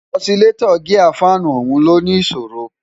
ọ̀silétọ́ gíà fáànù ọ̀hún ló ní ìṣòro